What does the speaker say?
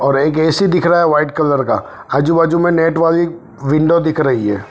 और एक ए_सी दिख रही है है वाइट कलर का आजू बाजू में नेट वाली विंडो दिख रही है।